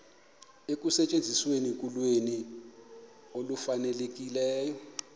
ekusetyenzisweni kolwimi olufanelekileyo